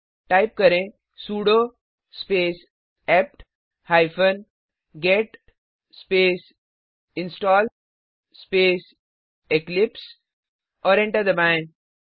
type करें sudo space APT hyphen get space install space Eclipse और enter दबाएं